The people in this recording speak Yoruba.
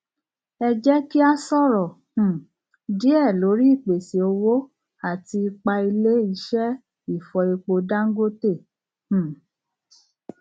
ẹ jẹ kí a sọrọ um díẹ lórí ìpèsè owó àti ipá ilé ìṣe ìfọ epo dangote um